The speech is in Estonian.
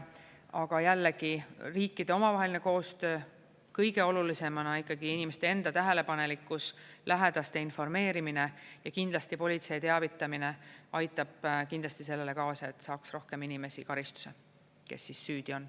Aga jällegi riikide omavaheline koostöö, kõige olulisemana ikkagi inimeste enda tähelepanelikkus, lähedaste informeerimine ja kindlasti politsei teavitamine aitab kindlasti sellele kaasa, et saaks rohkem inimesi karistuse, kes siis süüdi on.